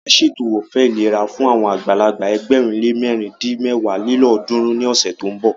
A fẹ́ ṣètò ọ̀fẹ́ ìlera fún àwọn àgbàlagbà ẹgbẹ̀rún le lọ́rin-din-lẹwá lélọ́ọ̀dúnrún ní ọ̀sẹ̀ tí ó ń bọ̀.